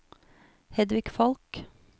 Hedvig Falch